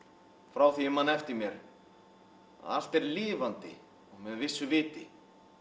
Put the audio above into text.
frá því ég man eftir mér að allt er lifandi og með vissu viti